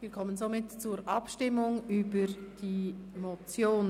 Wir kommen somit zur Abstimmung über die Motion.